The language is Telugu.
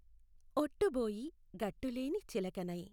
ఒట్టుబొఇ గట్టులేని చిలకనై